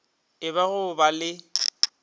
e ba go ba le